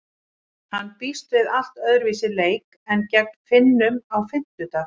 Hann býst við allt öðruvísi leik en gegn Finnum á fimmtudag.